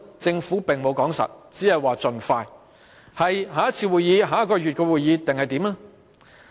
政府沒有說清楚，只說會盡快，是下一次會議，還是下一個月的會議？